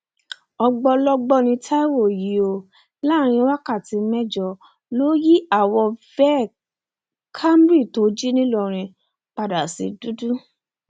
ògbólógbòó ní taiwo yìí o láàrin wákàtí mẹjọ ló yí àwo veh camry tó jí nìlọrin padà sí dúdú